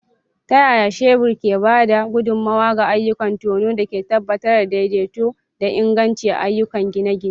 Ta yaya shebur ke ba da gudummawa ga ayyukan tono da ke tabbatar da daidaito da inganci a ayyukan gine-gine?